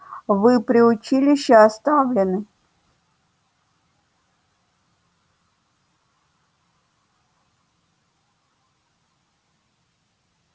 вы при училище оставлены